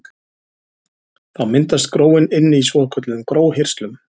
Þá myndast gróin inni í svokölluðum gróhirslum.